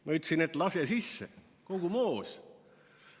Ma ütlesin, et lase sisse, kogu moos.